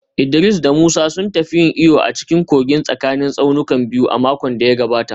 Idris da Musa sun tafi yin iyo a cikin kogin tsakanin tsaunukan biyu a makon da ya gabata